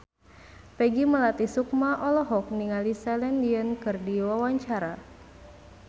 Peggy Melati Sukma olohok ningali Celine Dion keur diwawancara